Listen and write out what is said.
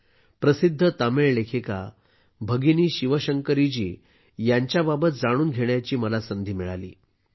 मला प्रसिद्ध तमिळ लेखिका भगिनी शिवशंकरीजी यांच्याबाबत जाणून घेण्याची संधी मिळाली आहे